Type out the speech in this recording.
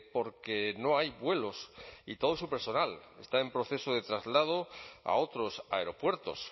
porque no hay vuelos y todo su personal está en proceso de traslado a otros aeropuertos